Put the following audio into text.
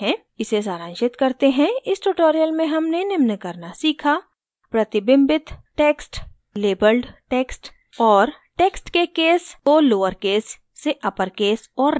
इसे सारांशित करते हैं इस tutorial में हमने निम्न करना सीखा: प्रतिबिंबित रिफ्लेक्टेड टेक्स्ट लेबल्ड टेक्स्ट और टेक्स्ट के केस को lowercase से uppercase और randomcase में बदलना